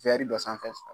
dɔ sanfɛ